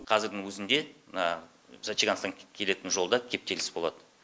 қазірдің өзінде мына зачагансктан келетін жолда кептеліс болады